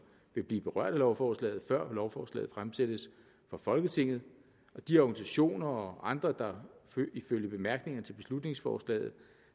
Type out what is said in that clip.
vil blive berørt af lovforslaget før lovforslaget fremsættes for folketinget og de organisationer og andre der ifølge bemærkningerne til beslutningsforslaget